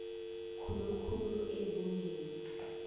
khulu khulu ezingeni